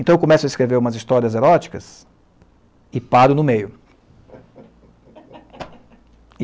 Então, eu começo a escrever umas histórias eróticas e paro no meio.